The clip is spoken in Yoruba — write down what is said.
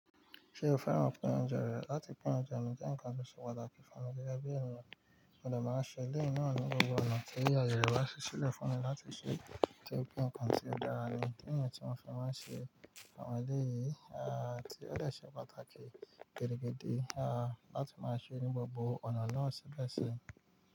Ṣé o fẹ́ràn pín oúnjẹ rẹ? Láti pín oúnjẹ mi jẹ́ ǹkan tó ṣe pàtàkì fún mi gẹ́gẹ́ bí ènìyàn. Mọ dé máa ń ṣe iléyi náà ní gbogbo ọ̀nà tí ayé rẹ Yorùbá ṣi sílẹ̀ fún mi láti ṣe torí pé ǹkan tí ó dára ni ìdí nìyẹn tí mo fẹ́ máa ń ṣe àwọn ilé yìí. Ti ó dé ṣe pàtàkì gidi gidi, láti máa ṣe ní gbogbo ọ̀nà náà ṣibẹ si.